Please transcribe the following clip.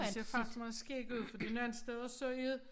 Det ser faktisk meget skægt ud fordi nogen stedet så er det